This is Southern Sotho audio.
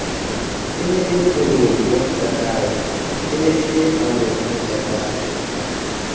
e ne e leboloi boontatae